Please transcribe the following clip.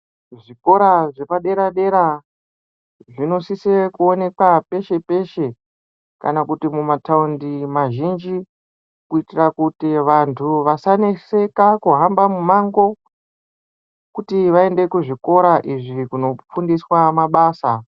Kuzvikora zvepaderadera zvinosise kuonekwa peshe peshe kana kuti mumataundi mazhinji kuitira kuti vantu vasaneseka kuhamba mumango kuti vaende kuzvikora izvi kunofundiswa mabasa.